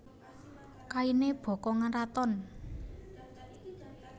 Kainé bokongan raton